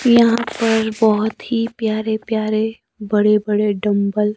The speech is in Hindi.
यहां पर बहुत ही प्यारे प्यारे बड़े बड़े डंबल --